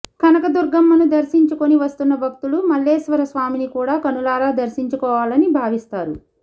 కనకదుర్గమ్మను దర్శించుకుని వస్తున్న భక్తులు మల్లేశ్వరస్వామిని కూడా కనులారా దర్శించుకోవాలని భావిస్తారు